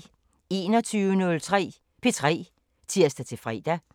21:03: P3 (tir-fre)